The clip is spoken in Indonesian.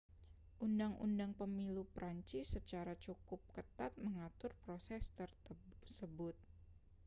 undang-undang pemilu prancis secara cukup ketat mengatur proses tersebut